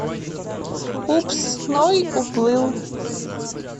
упс ной уплыл